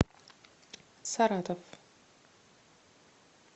саратов